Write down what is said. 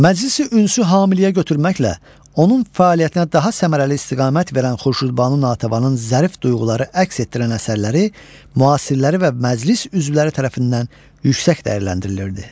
Məclisi Ünsü hamiləyə götürməklə onun fəaliyyətinə daha səmərəli istiqamət verən Xurşudbanu Natəvanın zərif duyğuları əks etdirən əsərləri müasirləri və məclis üzvləri tərəfindən yüksək dəyərləndirilirdi.